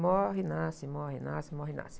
Morre e nasce, morre e nasce, morre e nasce.